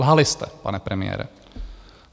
Lhali jste, pane premiére.